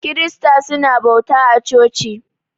Kirista su na bauta a coci.